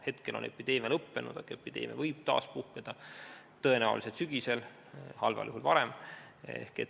Hetkel on epideemia lõppenud, aga see võib taas puhkeda, tõenäoliselt sügisel, halval juhul varem.